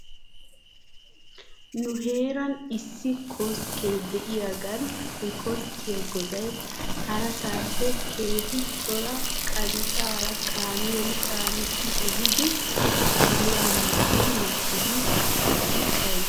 Nu heeran issi koskkee diyaagan he koskkiyaa goday harasaappe keehi cora qancaara kaamiyan caanissi ehidi kiluwan mmakki makkidi asaasi bayzzes.